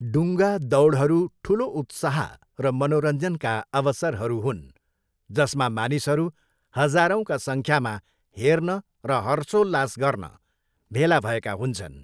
डुङ्गा दौडहरू ठुलो उत्साह र मनोरञ्जनका अवसरहरू हुन् जसमा मानिसहरू हजारौँका सङ्ख्यामा हेर्न र हर्षोल्लास गर्न भेला भएका हुन्छन्।